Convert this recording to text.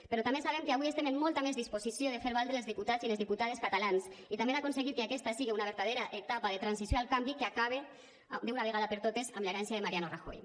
però també sabem que avui estem amb molta més disposició de fer valdre els diputats i les diputades catalans i també d’aconseguir que aquesta siga una vertadera etapa de transició al canvi que acabe d’una vegada per totes amb l’herència de mariano rajoy